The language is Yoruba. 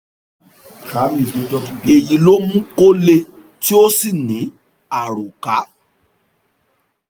èyí ló mú kó le tí ó sì ní àròkà